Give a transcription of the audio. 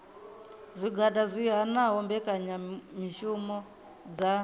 zwigwada zwi hanaho mbekanyamishumo dza